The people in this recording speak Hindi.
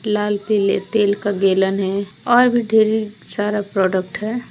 लाल पीले तेल का गेलन है और भी ढेर सारा प्रोडक्ट है।